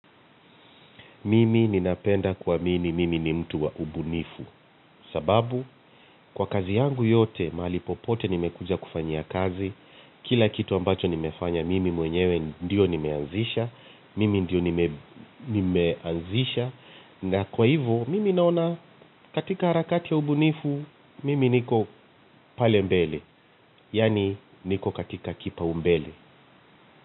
Mimi ninapenda kuamini mimi ni mtu wa ubunifu. Sababu kwa kazi yangu yote, mahali popote nimekuja kufanyia kazi kila kitu ambacho nimefanya mimi mwenyewe ndio nimeanzisha. Mimi ndio nimeanzisha na kwa hivo mimi naona katika harakati ya ubunifu. Mimi niko pale mbele. Yaani niko katika kipaumbele.